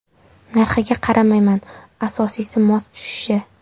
Narxiga qaramayman, asosiysi mos tushishi.